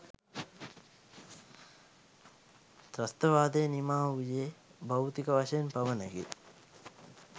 ත්‍රස්ථවාදය නිමා වූයේ භෞතික වශයෙන් පමණකි.